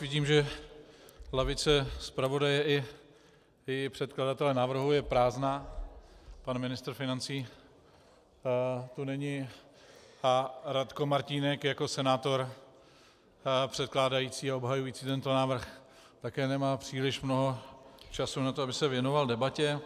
Vidím, že lavice zpravodaje i předkladatele návrhu je prázdná, pan ministr financí tu není a Radko Martínek jako senátor předkládající a obhajující tento návrh také nemá příliš mnoho času na to, aby se věnoval debatě.